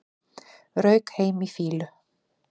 Rauk heim í fýlu